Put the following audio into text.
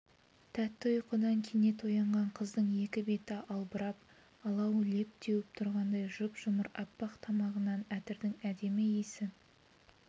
тәтті ұйқыдан кенет оянған қыздың екі беті албырап алау леп теуіп тұрғандай жұп-жұмыр аппақ тамағынан әтірдің әдемі исі